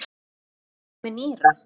Get ég borgað með nýra?